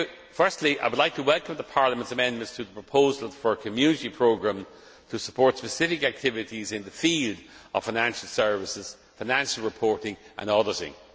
Firstly I would like to welcome Parliament's amendments to the proposal for a Community programme to support specific activities in the field of financial services, financial reporting and auditing.